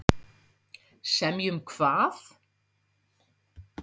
Semja um hvað?